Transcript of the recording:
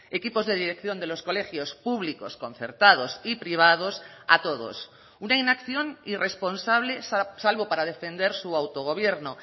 equipos de dirección de los colegios públicos concertados y privados a todos una inacción irresponsable salvo para defender su autogobierno